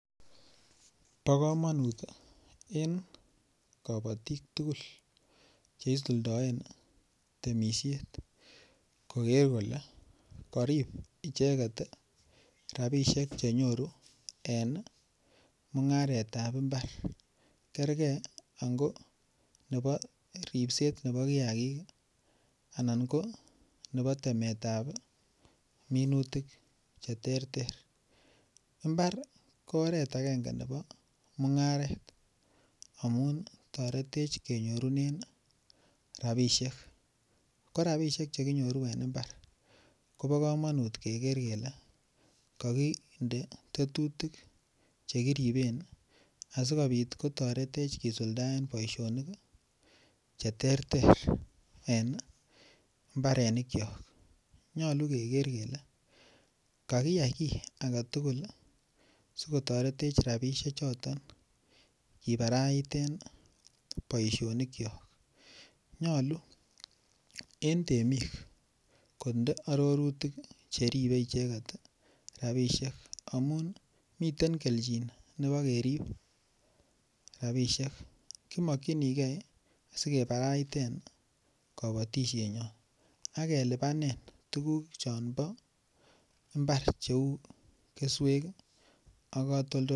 Po kamonut en kabotik tukul che isuldaen temishet koker kole karip icheket rapishek che nyoru en mung'aretab mbar. Kerkee ango nebo ripset nebo kiyakik anan ko nebo temetab minutiik che tertet. Mbar ko oret agenge nebo mungaret amun taretech kenyorunen rabishek. Ko rapishek che kinyoru en imbar ko bo kamanut keker kele kakinde tetutik chekiriben asikobit kotaretech kisuldaen boishonik che terter en mbarenikchok. Nyolu keker kele kakiyai ki ake tukul sikotaretech rapishechoton kiparaiten poishonikchok. Nyolu eng temik konde arorutik che ribee icheket rabishek amun miten kelchin nebo kerib rabishek. Kimokchinikei sikepraiten kabotishennyo akelipanee tukuk chon bo mbar cheu keswek ak katoldoloiwek.